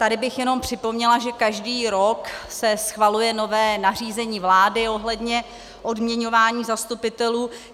Tady bych jenom připomněla, že každý rok se schvaluje nové nařízení vlády ohledně odměňování zastupitelů.